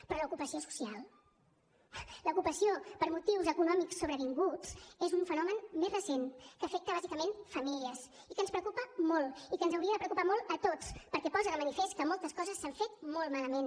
però l’ocupació social l’ocupació per motius econòmics sobrevinguts és un fenomen més recent que afecta bàsicament famílies i que ens preocupa molt i que ens hauria de preocupar molt a tots perquè posa de manifest que moltes coses s’han fet molt malament